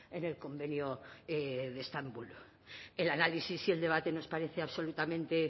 en el convenio de estambul el análisis y el debate nos parece absolutamente